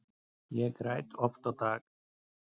Ég græt oft á dag.